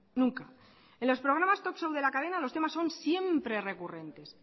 nunca en los programas talk show de la cadena los temas son siempre recurrentes